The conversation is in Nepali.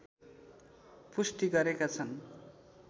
पुष्टि गरेका छन्